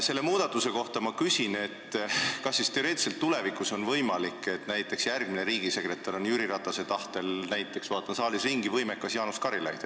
Selle muudatuse kohta ma küsin, kas siis teoreetiliselt on tulevikus võimalik, et järgmine riigisekretär on Jüri Ratase tahtel – ma vaatan siin saalis ringi – võimekas Jaanus Karilaid.